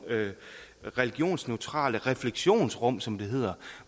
religionensneutrale refleksionsrum som det hedder